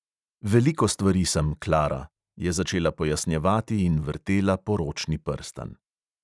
"Veliko stvari sem, klara," je začela pojasnjevati in vrtela poročni prstan.